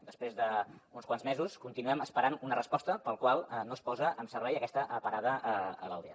després d’uns quants mesos continuem esperant una resposta sobre per què no es posa en servei aquesta parada a l’aldea